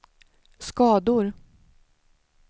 skador